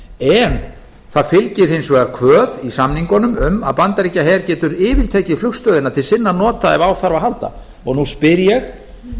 en það fylgir hins vegar kvöð í samningunum um að bandaríkjaher getur yfirtekið flugstöðina til sinna nota ef á þarf að halda nú spyr ég